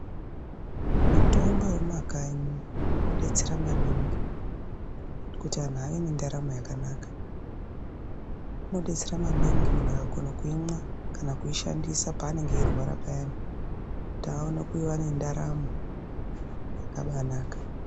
Mitombo yemumakanyi inodetsera maningi kuti vantu vave nendaramo yakanaka inodetsera maningi muntu akakona kuimwa kana kuishandisa panenge achirwara payani kuti awane kuva nendaramo yakabanaka.